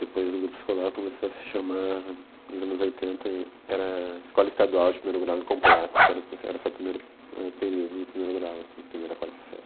Depois o grupo escolar começou a se chamar, nos anos oitenta, era escola estadual de primeiro grau incompleto, que era o proce era só o primeiro, eh, período do primeiro grau, assim, primeira a quarta série.